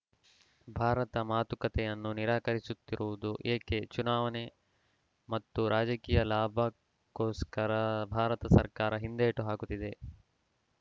ಭಾರತ ಮಾತುಕತೆಯನ್ನು ನಿರಾಕರಿಸುತ್ತಿರುವುದು ಏಕೆ ಚುನಾವಣೆ ಮತ್ತು ರಾಜಕೀಯ ಲಾಭಕ್ಕೋಸ್ಕರ ಭಾರತ ಸರ್ಕಾರ ಹಿಂದೇಟು ಹಾಕುತ್ತಿದೆ